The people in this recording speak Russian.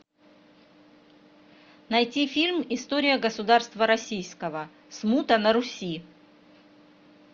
найти фильм история государства российского смута на руси